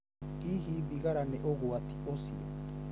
Hihi thigara nĩ ũgwati ũcio?